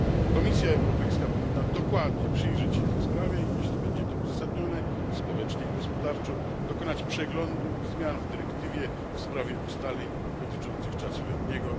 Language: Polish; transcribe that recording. Komisja Europejska powinna dokładnie przyjrzeć się tej sprawie i, jeśli będzie to uzasadnione społecznie i gospodarczo, dokonać przeglądu i zmian w dyrektywie w sprawie ustaleń dotyczących czasu letniego.